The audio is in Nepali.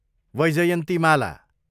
वैजयन्तिमाला